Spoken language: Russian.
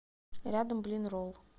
рядом блинролл